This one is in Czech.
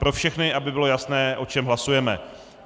Pro všechny, aby bylo jasné, o čem hlasujeme.